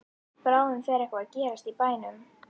Bráðum fer eitthvað að gerast í bænum.